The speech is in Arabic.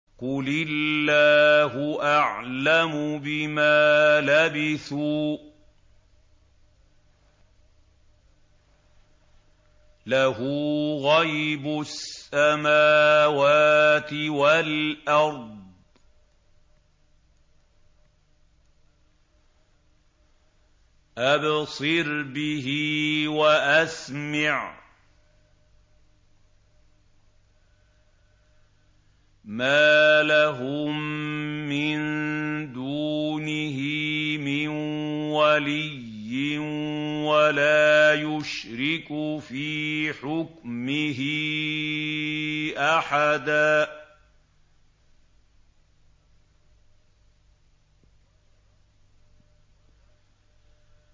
قُلِ اللَّهُ أَعْلَمُ بِمَا لَبِثُوا ۖ لَهُ غَيْبُ السَّمَاوَاتِ وَالْأَرْضِ ۖ أَبْصِرْ بِهِ وَأَسْمِعْ ۚ مَا لَهُم مِّن دُونِهِ مِن وَلِيٍّ وَلَا يُشْرِكُ فِي حُكْمِهِ أَحَدًا